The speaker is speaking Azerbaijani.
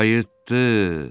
Qayıtdı!